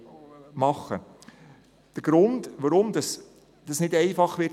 Es gibt noch einen anderen Grund, weswegen es nicht einfach sein wird: